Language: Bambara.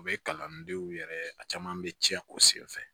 U bɛ kalandenw yɛrɛ a caman bɛ tiɲɛ o sen fɛ